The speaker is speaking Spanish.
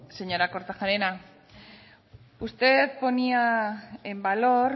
señora kortajarena usted ponía en valor